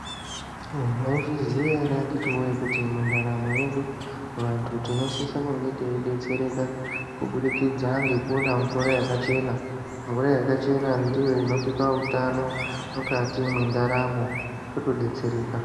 Maizviziva here akiti woye mundaramo yedu vantu tinosisa teidetsereka kuburikidza ngwkuina mvura yakachena ndiyo inotipa utano mukati mendaramo totodetsereka.